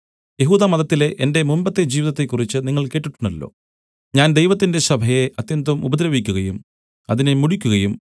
യെഹൂദമതത്തിലെ എന്റെ മുമ്പത്തെ ജീവിതത്തെക്കുറിച്ച് നിങ്ങൾ കേട്ടിട്ടുണ്ടല്ലോ ഞാൻ ദൈവത്തിന്റെ സഭയെ അത്യന്തം ഉപദ്രവിക്കുകയും അതിനെ മുടിക്കുകയും